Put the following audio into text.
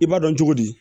I b'a dɔn cogo di